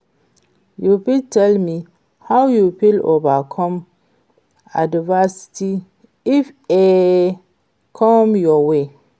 you fit tell me how you fit overcome adversity if e come your way?